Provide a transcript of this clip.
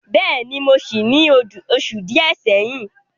Bẹ́ẹ̀ni, mo sí í ní oṣù díẹ̀ sẹ́yìn.